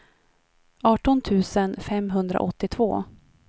arton tusen femhundraåttiotvå